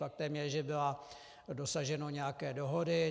Faktem je, že bylo dosaženo nějaké dohody.